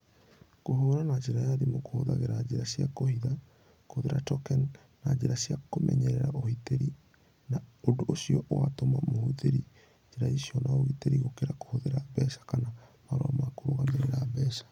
Kũhũra na njĩra ya thimũ kũhũthagĩra njĩra cia kũhitha, kũhũthĩra token, na njĩra cia kũmenyeria ũhĩtĩri, na ũndũ ũcio ũgatũma mahũthĩre njĩra icio na ũgitĩri gũkĩra kũhũthĩra mbeca kana marũa ma kũrũgamĩrĩra mbeca.